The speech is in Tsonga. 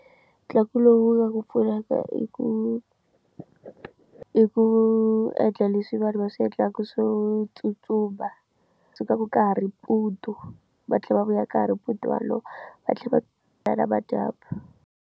Ntlangu lowu wu nga ku pfunaka i ku i ku endla leswi vanhu va swi endlaka swo tsutsuma sukaka ka ha ri mpundu va tlhela va vuya ka ha ri mpundu walowo va tlhela va na madyambu.